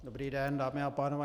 Dobrý den, dámy a pánové.